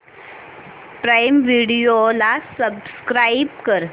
prime Video ला subscribe कर